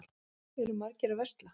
Eru margir að versla?